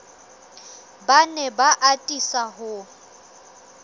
ba ne ba atisa ho